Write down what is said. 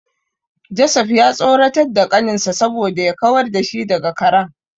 Joseph ya tsoratar da kaninsa saboda ya kawar da shi daga karen.